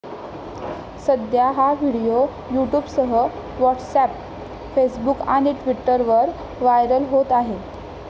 सध्या हा व्हिडीओ यूट्यूबसह व्हॉट्सअप, फेसबुक आणि ट्विटरवर व्हायरल होत आहे.